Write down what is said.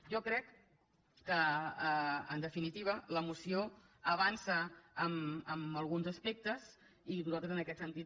jo crec que en definitiva la moció avança en alguns aspectes i nosaltres en aquest sentit